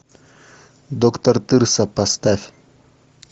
доктор тырса поставь